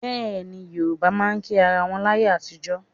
Bẹ́ẹ̀ni, Yorùbá máa ń kí ara wọn láyé àtijọ́